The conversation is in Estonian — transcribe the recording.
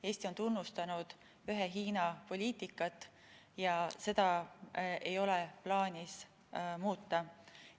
Eesti on tunnustanud ühe Hiina poliitikat ja seda ei ole plaanis muuta.